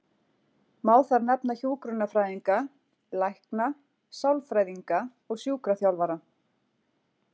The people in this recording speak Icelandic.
Má þar nefna hjúkrunarfræðinga, lækna, sálfræðinga og sjúkraþjálfara.